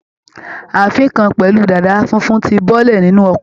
Ààfín kan pẹ̀lú dàda funfun ti bọ́lẹ̀ nínú ọkọ̀.